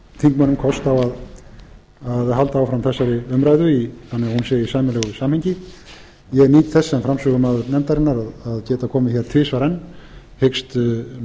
þingmönnum kost á að halda áfram þessari umræðu þannig að hún sé í sæmilegu samhengi ég nýt þess sem framsögumaður enfndarinanr að geta komið hér tvisvar enn hyggst